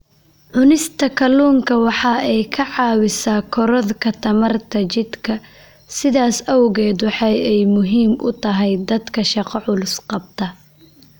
Cunista kalluunku waxa ay caawisaa korodhka tamarta jidhka, sidaas awgeed waxa ay muhiim u tahay dadka shaqo culus qabta.